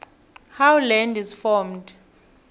how land is formed